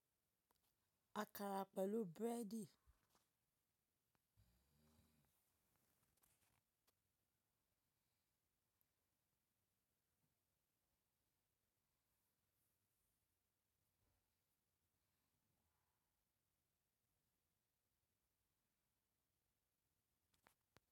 Akara pẹ̀lú búrẹ́dì.